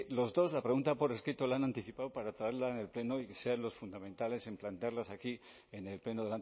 los dos la pregunta por escrito la han anticipado para traerla en el pleno y que sean los fundamentales en plantearlas aquí en el pleno